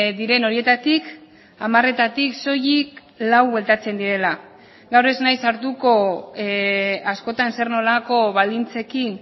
diren horietatik hamaretatik soilik lau bueltatzen direla gaur ez naiz sartuko askotan zer nolako baldintzekin